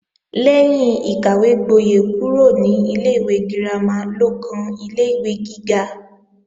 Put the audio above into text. Lẹ́yìn ìkàwégbóyè kúrò ní ilé-ìwé girama ló kan ilé-ìwé gíga